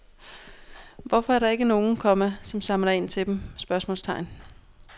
Hvorfor er der ikke nogen, komma som samler ind til dem? spørgsmålstegn